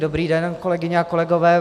Dobrý den, kolegyně a kolegové.